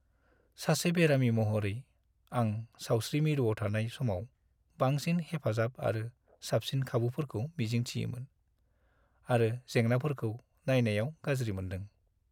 सासे बेरामि महरै, आं सावस्रि मिरुआव थानाय समाव बांसिन हेफाजाब आरो साबसिन खाबुफोरखौ मिजिंथियोमोन, आरो जेंनाफोरखौ नायनायाव गाज्रि मोनदों।